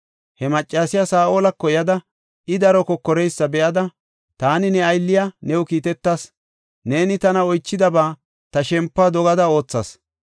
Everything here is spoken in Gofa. He maccasiya Saa7olako yada, I daro kokoreysa be7ada, “Taani ne aylliya new kiitetas; neeni tana oychidaba ta shempuwa dogada oothas.